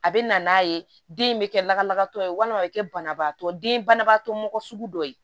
A bɛ na n'a ye den bɛ kɛ lakanabagatɔ ye walima a bɛ kɛ banabaatɔ den banabaatɔ mɔgɔ sugu dɔ ye